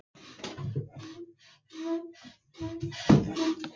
Þorsteinn reyndist ekki hafa hug á samræðum á þessum nótum.